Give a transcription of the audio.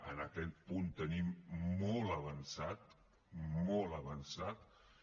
en aquest punt tenim molt avançat molt avançat